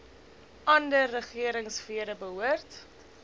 ander regeringsfere behoort